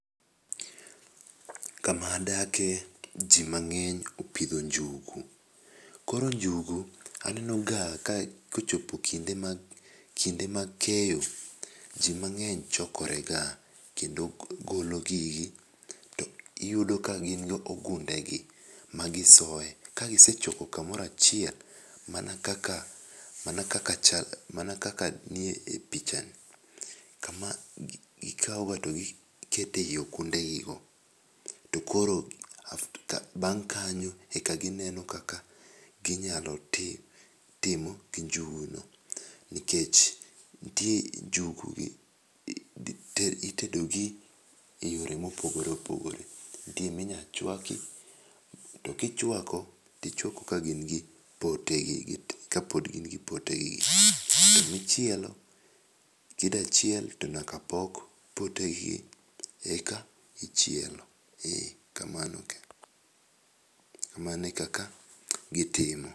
Kama adake ji mang'eny opidho njugu. Koro njugu anenoga kochopo kinde mag keyo, ji mang'eny chokorega kendo golo gigi ,to iyudo ka gin go gundegi magisoye. Ka gisechoko kamoro achiel mana kaka nie pichani, kama gikawoga to gikete ei ogundegigo, to koro bang' kanyo e ka gineno kaka ginyalo timo njuguno, nikech ntie njugu ,itedogi e yore mopogore opogore. Nitie minya chwaki, to kichwako, tichwako ka gin gi potegi. To michielo, kida chiel, tonyaka pok potegi eka ichielo. E kamano. Kamano e kaka gitimo.